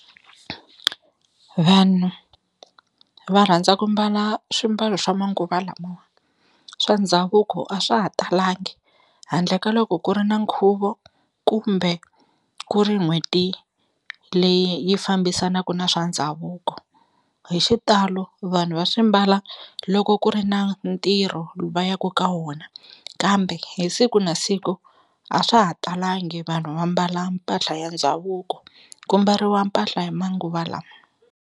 Vanhu va rhandza ku mbala swimbalo swa manguva lamawa swa ndhavuko a swa ha talangi handle ka loko ku ri na nkhuvo kumbe ku ri n'hweti leyi yi fambisanaka na swa ndhavuko, hi xitalo vanhu va swi mbala loko ku ri na ntirho va yaku ka wona kambe hi siku na siku a swa ha talangi vanhu va mbala mpahla ya ndhavuko ku mbariwa mpahla ya manguva lama.